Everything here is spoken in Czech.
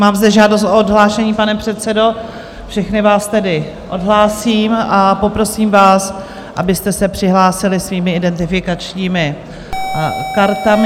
Mám zde žádost o odhlášení, pane předsedo, všechny vás tedy odhlásím a poprosím vás, abyste se přihlásili svými identifikačními kartami.